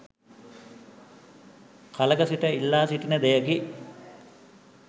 කලක සිට ඉල්ලා සිටින දෙයකි.